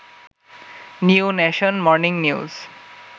new nation, morning news